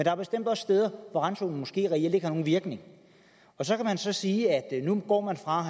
er bestemt også steder hvor randzonen måske reelt ikke har nogen virkning så kan man så sige at nu går man fra at